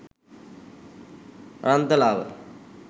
Aranthalawa